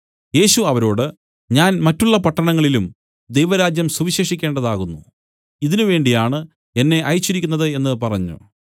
യേശു അവരോട് ഞാൻ മറ്റുള്ള പട്ടണങ്ങളിലും ദൈവരാജ്യം സുവിശേഷിക്കേണ്ടതാകുന്നു ഇതിനു വേണ്ടിയാണ് എന്നെ അയച്ചിരിക്കുന്നത് എന്നു പറഞ്ഞു